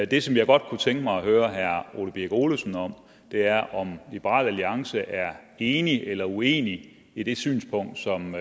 det som jeg godt kunne tænke mig at høre herre ole birk olesen om er om liberal alliance er enig eller uenig i det synspunkt som